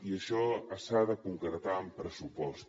i això s’ha de concretar en pressupost